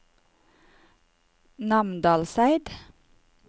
Namdalseid